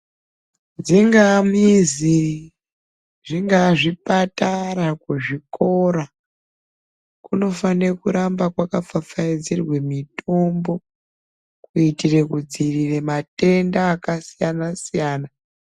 Dzingaa mizi, zvingaa zvipatara, kuzvikora, kunofane kuramba kwakapfapfayidzirwa mitombo, kuyitire kudziyirira matenda akasiyana-siyana.